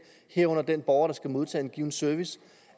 herunder den borger at der skal modtage en given service